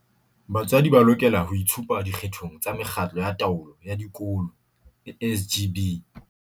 Batswadi ba lokela ho itshupa dikgethong tsa Mekgatlo ya Taolo ya Dikolo, SGB.